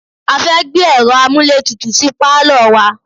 A fẹ́ gbé ẹ̀ro amúlétutù sí pálọ̀ wa.